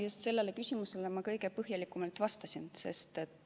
Just sellele küsimusele ma kõige põhjalikumalt vastasin.